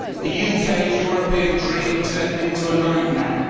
The UK's European dream turned into a nightmare.